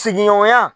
Sigiɲɔgɔnya